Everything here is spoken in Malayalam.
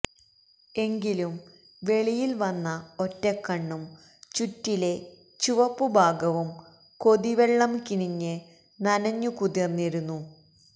എങ്കിലും വെളിയിൽ വന്ന ഒറ്റക്കണ്ണും ചുറ്റിലെ ചുവപ്പുഭാഗവും കൊതിവെള്ളം കിനിഞ്ഞ് നനഞ്ഞു കുതിര്ന്നിരുന്നു